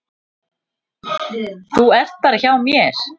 Þú ert bara hjá mér.